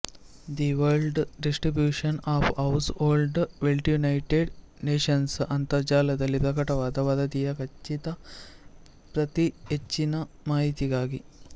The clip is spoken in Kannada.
the world distribution of household wealth United Nations ಅಂತರ್ಜಾಲದಲ್ಲಿ ಪ್ರಕಟವಾದ ವರದಿಯ ಖಚಿತ ಪ್ರತಿಹೆಚ್ಚಿನ ಮಾಹಿತಿಗಾಗಿ